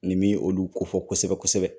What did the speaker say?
Nin bi olu kofɔ kosɛbɛ kosɛbɛ